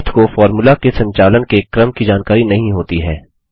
math को formula के संचालन के क्रम की जानकारी नहीं होती है